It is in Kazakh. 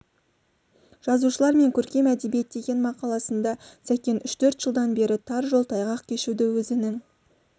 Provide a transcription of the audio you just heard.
жазушылар мен көркем әдебиет деген мақаласында сәкен үш-төрт жылдан бері тар жол тайғақ кешуді өзінің